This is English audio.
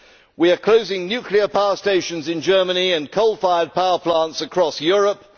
We are closing nuclear power stations in Germany and coal fired power plants across Europe.